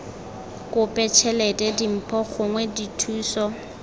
kope tšhelete dimpho gongwe dithuso